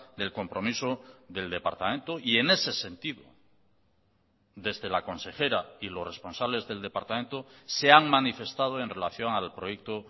del compromiso del departamento y en ese sentido desde la consejera y los responsables del departamento se han manifestado en relación al proyecto